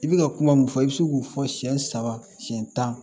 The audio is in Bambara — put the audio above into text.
I bɛ ka kuma mun fɔ i bɛ se k'u fɔ siyɛn saba si tan